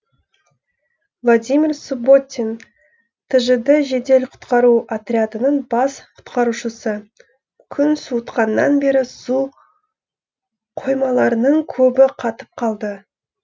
владимир субботин тжд жедел құтқару отрядының бас құтқарушысы күн суытқаннан бері су қоймаларының көбі қатып қалды